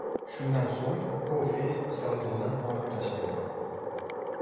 Shundan so‘ng kofe savdodan olib tashlangan.